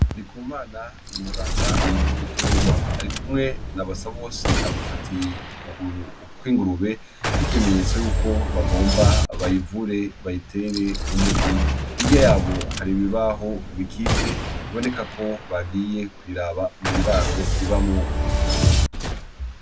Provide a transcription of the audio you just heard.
Ndikumana n'umuganga w'ibitungwa ari kumwe na basabose amufatiye ukuguru kw' ingurube nk'ikimenyetso yuko bagomba bayivure bayitere umuti hirya yaho hari ibibaho bikitse biboneka ko bagiye kuyiraba mu ndaro ibamwo